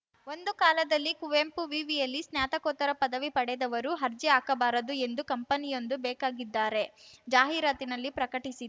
ಒಂದು ಕಾಲದಲ್ಲಿ ಕುವೆಂಪು ವಿವಿ ಯಲ್ಲಿ ಸ್ನಾತಕೋತ್ತರ ಪದವಿ ಪಡೆದವರು ಅರ್ಜಿ ಹಾಕಬಾರದು ಎಂದು ಕಂಪನಿಯೊಂದು ಬೇಕಾಗಿದ್ದಾರೆ ಜಾಹಿರಾತಿನಲ್ಲಿ ಪ್ರಕಟಿಸಿ